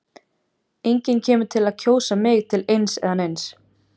Enginn kemur til með að kjósa mig til eins eða neins.